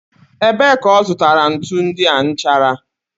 Ebee ka ọ zụtara ntu ndị a nchara?